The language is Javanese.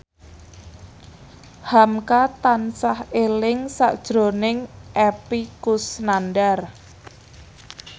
hamka tansah eling sakjroning Epy Kusnandar